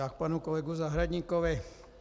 K panu kolegovi Zahradníkovi.